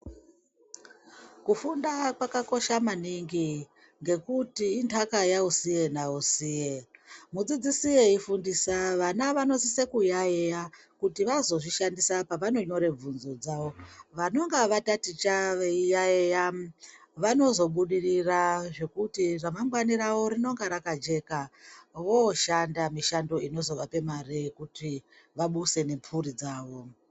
Kufunda kwakakosha maningi, ngekuti intaka yausiye nausiye. Mudzidzisi eifundisa vana vanosise kuyaeya kuti vazozvishandisa pavanonyore bvunzo dzavo. Vanonge vataticha veiyaeya vanozobudirira zvekuti ramangwani ravo rinonge rakajeka vooshanda mishando inozovape mare yekuti vabuse nemphuri dzavo.